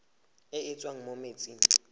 e e tswang mo metsing